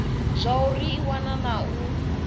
zwauri i wana na u